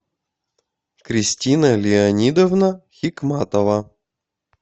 кристина леонидовна хикматова